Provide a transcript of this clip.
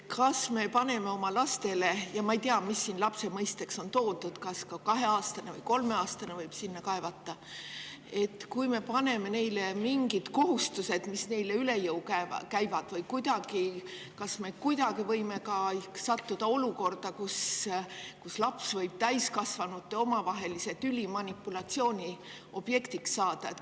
Kui me paneme lastele – ja ma ei tea, mis siin lapse mõiste on toodud, kas ka kahe- või kolmeaastane võib sinna kaevata – mingid kohustused, mis neile üle jõu käivad, kas me võime siis sattuda olukorda, kus laps võib täiskasvanute omavahelise tüli manipulatsiooni objektiks saada?